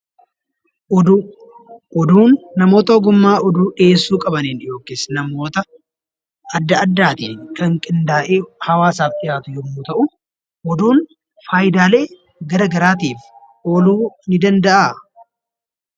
Oduu; oduun namoota ogummaa oduu dhiyeessu qabanin yookis namoota adda addaattin Kan qindaa'ee hawaasaf dhiyaatu yommuu ta'u, Oduun faayyidaalee garagaraattif ooluu ni danda'aa?